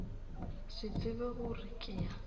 se tsebe gore ke ya